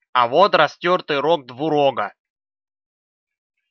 а вот растёртый рог двурога